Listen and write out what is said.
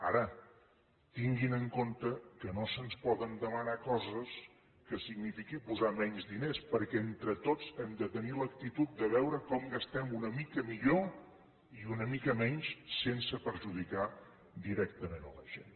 ara tinguin en compte que no se’ns poden demanar coses que signifiquin posar menys diners perquè entre tots hem de tenir l’actitud de veure com gastem una mica millor i una mica menys sense perjudicar directament la gent